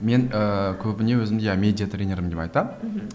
мен ііі көбіне өзімді я медиатренер деп айтамын мхм